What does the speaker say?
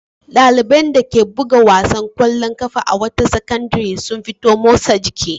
Ɗaliban dake buga wasan ƙwallon ƙafa a wata sakandare sun fito motsa jiki.